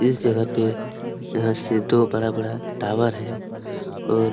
इस जगह पे यहाँ से दो बड़ा-बड़ा टॉवर है और--